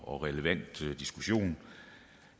og relevant diskussion